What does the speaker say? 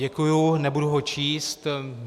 Děkuji, nebudu ho číst.